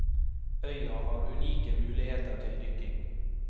Øya har unike muligheter til dykking.